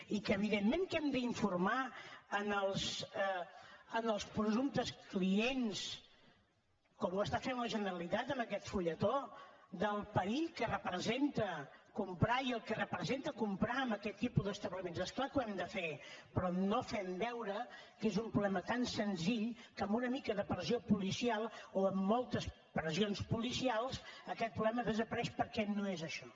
i que evidentment que hem d’informar els presumptes clients com ho està fent la generalitat amb aquest fulletó del perill que representa comprar i el que representa comprar en aquest tipus d’establiments és clar que ho hem de fer però no fent veure que és un problema tan senzill que amb una mica de pressió policial o amb moltes pressions policials aquest problema desapareix perquè no és això